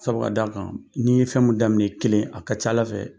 Sabu ka d'a kan n'i ye fɛn min daminɛ i kelen a ka c'a fɛ